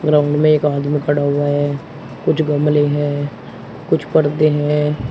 Ground में एक आमदीन खड़ा हुआ है कुछ गमले है कुछ पर्दे है।